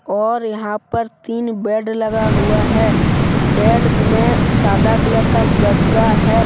और यहां पर तीन बेड लगा हुआ हैबेड मे सादा कलर का गद्दा है।